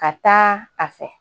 Ka taa a fɛ